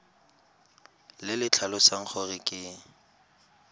le le tlhalosang gore ke